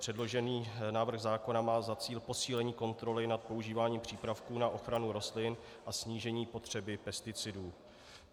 Předložený návrh zákona má za cíl posílení kontroly nad používáním přípravků na ochranu rostlin a snížení potřeby pesticidů.